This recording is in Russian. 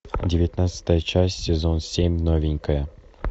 девятнадцатая часть сезон семь новенькая